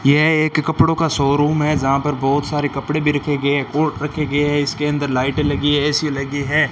यह एक कपड़ों का शोरूम है जहां पर बहोत सारे कपड़े भी रखें गए कोट रखे गए है इसके अंदर लाइटे लगी है ए_सी लगी है।